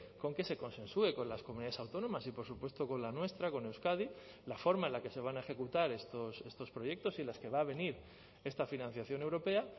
con que se consensue con las comunidades autónomas y por supuesto con la nuestra con euskadi la forma en la que se van a ejecutar estos proyectos y las que va a venir esta financiación europea